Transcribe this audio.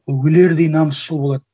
өлердей намысшыл болады